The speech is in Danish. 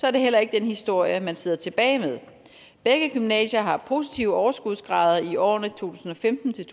er det heller ikke den historie man sidder tilbage med begge gymnasier har positive overskudsgrader i årene to tusind og femten til